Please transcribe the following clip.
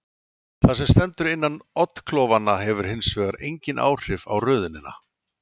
Það sem stendur innan oddklofanna hefur hins vegar engin áhrif á röðunina.